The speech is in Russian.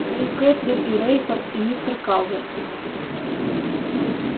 да и кэтлин и рейфорд и мистер калверт